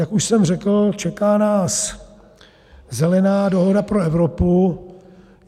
Jak už jsem řekl, čeká nás Zelená dohoda pro Evropu.